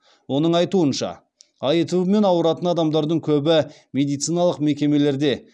оның айтуынша аитв мен ауыратын адамдардың көбі медициналық мекемелерде